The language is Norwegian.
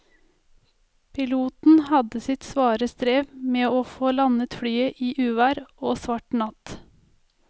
Piloten hadde sitt svare strev med å få landet flyet i uvær og svart natt.